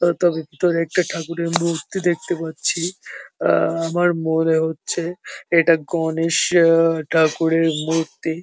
তত ভিতরে একটা ঠাকুরের মূর্তি দেখতে পাচ্ছি আ আমার মনে হচ্ছে এটা গণেশ আ ঠাকুরের মূর্তি ।